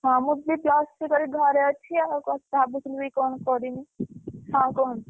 ହଁ, ମୁ ଦିଦି plus three କରି ଘରେ ଅଛି ଆଉ ଭାବୁଥିଲି ବି କଣ କରିମି ହଁ କୁହ।